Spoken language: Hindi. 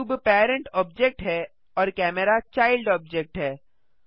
क्यूब पेरेन्ट ऑब्जेक्ट है और कैमरा चाइल्ड ऑब्जेक्ट है